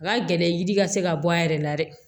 Nka gɛlɛya yiri ka se ka bɔ a yɛrɛ la dɛ